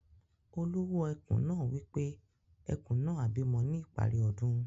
Olowo ekùn naa wipe Ẹkùn naá á bímọ ní ìparí ọdún.